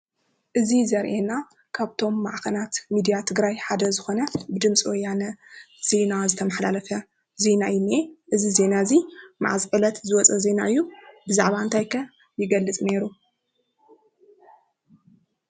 እዚ ዘርአና ካብቶም ማዕከናት ሚድያ ትግራይ ሓደ ዝኾነ ድምፂ ወያነ ዜና ዝተመሓላለፈ ዜና እዩ ዝኒአ። እዚ ዜና እዚ መዓዝ ዕለት ዝወፅ ዜና እዩ ? ብዛዕባ እንታይ ከ ይገልፅ ኔሩ ?